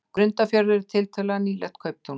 Grundarfjörður er tiltölulega nýlegt kauptún.